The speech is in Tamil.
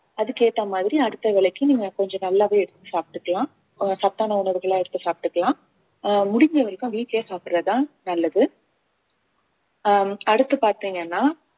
அதுக்கு ஏத்த மாதிரி அடுத்த வேலைக்கு நீங்க கொஞ்சம் நல்லாவே எடுத்து சாப்பிட்டுக்கலாம் ஆஹ் சத்தான உணவுகளை எடுத்து சாப்பிட்டுக்கலாம் ஆஹ் முடிஞ்ச வரைக்கும் வீட்லயே சாப்பிடுறதுதான் நல்லது ஆஹ் அடுத்து பார்த்தீங்கன்னா